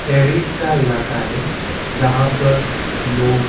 terrorist का इलाका हैं जहाँ पर लोग --